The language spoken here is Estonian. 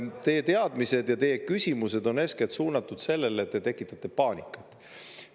Teie teadmised ja teie küsimused on eeskätt suunatud sellele, et te tekitate paanikat.